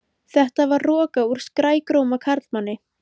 Þetta var roka úr skrækróma karlmanni.